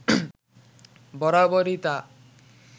বরাবরই তা